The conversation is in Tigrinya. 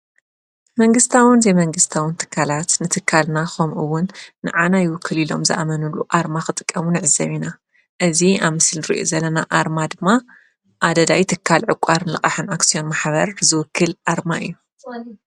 መንግስታውን ዘይመንግስታውን ትካላት ንትካልና ከምኡ'ውን ንኣና ይውክል ኢሎም ዝኣመኑሉ ኣርማ ክጥቀሙ ነዕዘብ ኢና። እዚ ኣብ ምስሊ ንርኦ ዘለና ኣርማ ድማ ኣደዳይ ትካል ዕቋርን ልቓሕን ኣክስዮን ማሕበር ዝውክል ኣርማ እዩ።